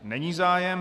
Není zájem.